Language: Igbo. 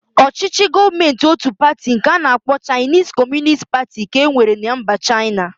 Ọchịchị Gọọmentị ótù pati nke a na-akpọ Chaịnis Kọmunist Pati ka e nwere na mba Chaịna.